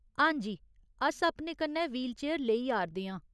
हां जी, अस अपने कन्नै व्हीलचेयर लेई आ'रदे आं।